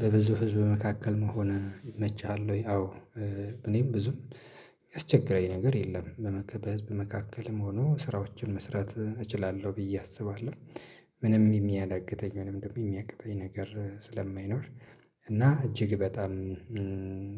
በብዙ ህዝብ መካከል መሆን ይመችሃል ወይ? አዎ እኔን ብዙም ያስቸገረኝ ነገር የለም በህዝብ መካከልም ሆኖ ስራዎችን መስራት እችላለሁ ብዬ አስባለሁ ምንም የሚያዳግተኝ ምንም ደግሞ የሚያቅተኝ ነገር ስለማይኖር እና እጅግ በጣም